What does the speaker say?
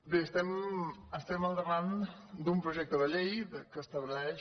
bé estem al davant d’un projecte de llei que estableix